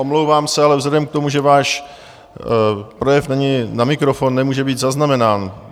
Omlouvám se, ale vzhledem k tomu, že váš projev není na mikrofon, nemůže být zaznamenán.